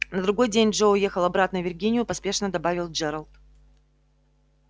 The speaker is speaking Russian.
на другой день джо уехал обратно в виргинию поспешно добавил джералд